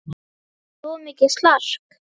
Það var oft mikið slark.